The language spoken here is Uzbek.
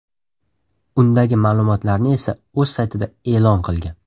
Undagi ma’lumotlarni esa o‘z saytida e’lon qilgan.